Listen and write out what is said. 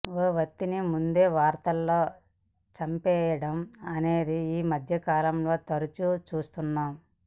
ఓ వ్యక్తిని ముందే వార్తల్లో చంపేయడం అనేది ఈ మధ్యకాలంలో తరచూ చూస్తున్నాం